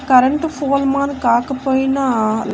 current ఫోల్మాన్ కాకపోయినా--